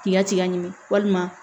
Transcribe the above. K'i ka tiga ɲimi walima